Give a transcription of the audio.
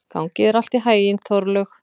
Gangi þér allt í haginn, Þorlaug.